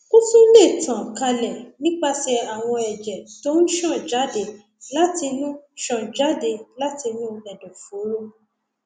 ó tún lè tàn kálẹ nípasẹ àwọn ẹjẹ tó ń ṣàn jáde látinú ṣàn jáde látinú ẹdọfóró